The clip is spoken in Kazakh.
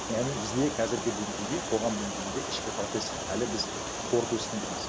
яғни бізде қазіргі деңгейде қоғам деңгейінде ішкі процесс әлі біз қорту үстіндеміз